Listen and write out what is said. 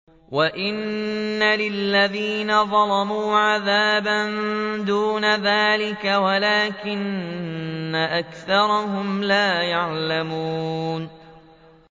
وَإِنَّ لِلَّذِينَ ظَلَمُوا عَذَابًا دُونَ ذَٰلِكَ وَلَٰكِنَّ أَكْثَرَهُمْ لَا يَعْلَمُونَ